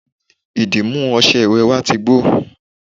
ìdìmú ọṣẹ ìwẹ̀ wa ti gbó